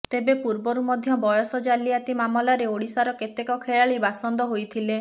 ତେବେ ପୂର୍ବରୁ ମଧ୍ୟ ବୟସ ଜାଲିଆତି ମାମଲାରେ ଓଡିଶାର କେତେକ ଖେଳାଳୀ ବାସନ୍ଦ ହୋଇଥିଲେ